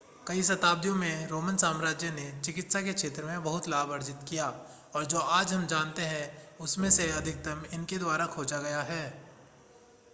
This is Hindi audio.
कई शताब्दियों में रोमन साम्राज्य ने चिकित्सा के क्षेत्र में बहुत लाभ अर्जित किया और जो आज हम जानते हैं उसमें से अधिकतम इनके द्वारा खोजा गया है